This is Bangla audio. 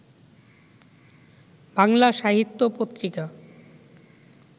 বাংলা সাহিত্য পত্রিকা